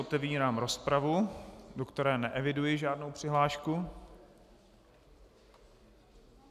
Otevírám rozpravu, do které neeviduji žádnou přihlášku.